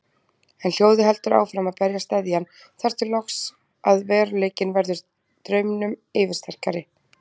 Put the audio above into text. En hljóðið heldur áfram að berja steðjann, þar til loks að veruleikinn verður draumnum yfirsterkari.